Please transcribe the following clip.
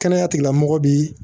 Kɛnɛya tigilamɔgɔ bi